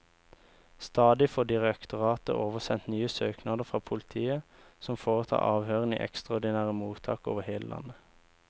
Stadig får direktoratet oversendt nye søknader fra politiet, som foretar avhørene i ekstraordinære mottak over hele landet.